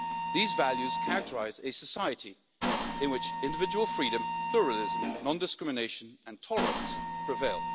These values characterise a society in which individual freedom, pluralism, non discrimination and tolerance prevail.